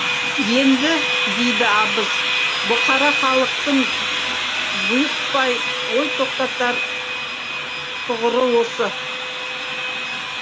енді дейді абыз бұқара халықтың бұйықпай ой тоқтатар тұғыры осы